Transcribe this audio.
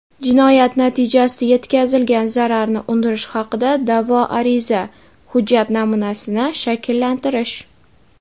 Jinoyat natijasida yetkazilgan zararni undirish haqida da’vo ariza | Hujjat namunasini shakllantirish.